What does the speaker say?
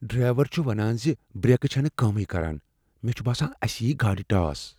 Driver چھ ونان ز برٛیکہٕ چھنہٕ کٲمٕے کران۔ مےٚ چھ باسان اسہ ییہ گاڑ ٹاس۔